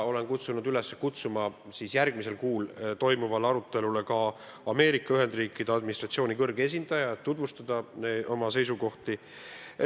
Olen kutsunud üles kutsuma järgmisel kuul toimuvale arutelule ka Ameerika Ühendriikide administratsiooni kõrge esindaja, et tutvustada oma seisukohti.